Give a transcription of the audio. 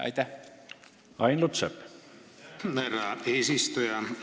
Aitäh, härra eesistuja!